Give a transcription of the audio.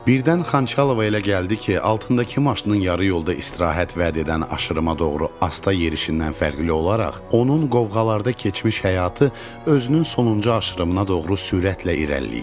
Birdən Xançalova elə gəldi ki, altındakı maşının yarı yolda istirahət vəd edən aşırımə doğru asta yerişindən fərqli olaraq, onun qovğalarda keçmiş həyatı özünün sonuncu aşırımına doğru sürətlə irəliləyir.